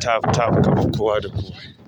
taf- taf kaman kowa da kuwa.